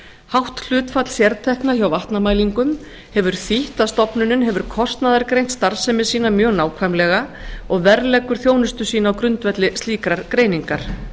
hátt hlutfall sértekna hjá vatnamælingum hefur þýtt að stofnunin hefur kostnaðargreint starfsemi sína mjög nákvæmlega og verðleggur þjónustu sína á grundvelli slíkrar greiningar